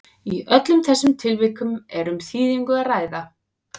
í öllum þessum tilvikum er um þýðingu að ræða